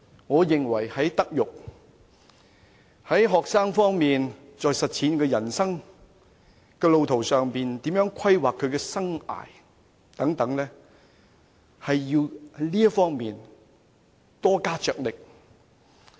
我認為在學生的德育方面，在協助他們在人生路途上學習如何規劃其生涯等方面，都要加大力度。